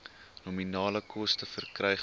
nominale koste verkrygbaar